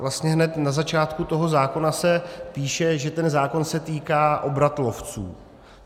Vlastně hned na začátku toho zákona se píše, že ten zákon se týká obratlovců.